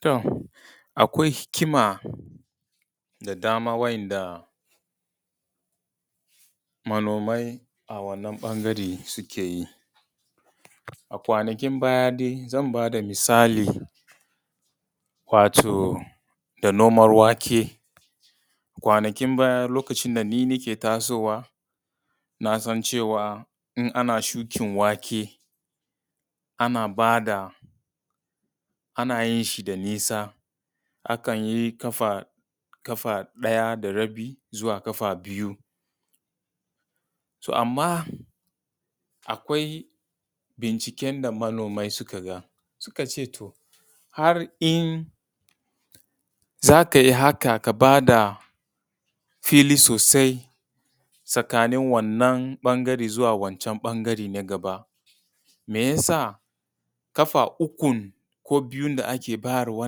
To akwai hikima da dama wa'inda manomai a wannan ɓangare suke yi. A kwanaki baya dai zan ba da misali wato da noman wake, kwanakin baya lokacin da ni nake tasowa na san cewa in ana shukin wake, ana ba da, ana yin shi da nisa, akan yi ƙafa ɗaya da rabi zuwa ƙafa biyu. So amma akwai binciken da manomai suka ga har in za kai haka ka ba da fili sosai tsakanin wannan ɓangare zuwa wancan ɓangaran na gaba mai yasa ƙafa ukun ko biyun da ake bayarwa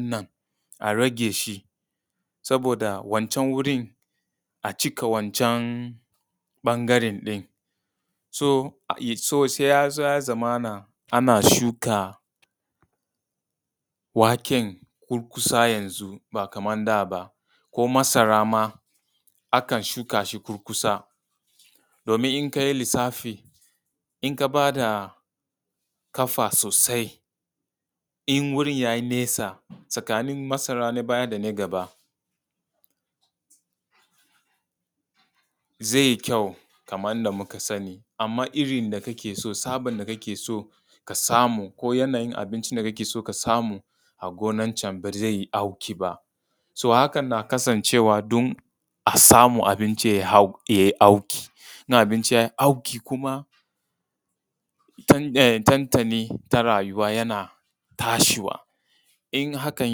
ɗin a rage shi saboda wancan gurin a cika wancan ɓangaran ɗin. So sai ya zo zamana ana shuka waken kurkusa yanzu ba kamar da ba, ko masara ma akan shuka shi kurkusa domin in ka yi lisafi, in ka ba da ƙafa sosai, in wurin ya yi nesa tsakanin masara na baya da na gaba zai yi kyau kamar yanda muka sani amma irin da kake so, tsaban da kake so ka samu ko yanayin abinci da kake so ka samu a gonan can ba zai yi auki ba. So hakan na kasancewa don a samu abinci yayi auk,i in abinci ya yi auki kuma tuntuni ita rayuwa yana tashiwa. In hakan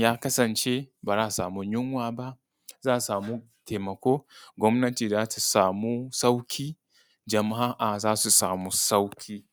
ya kasance ba za a samu yunwa ba, za a samu taimako, gwamnati za su samu sauƙi jama'a za su samu sauƙi.